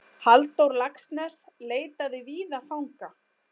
Halldór Laxness leitaði víða fanga.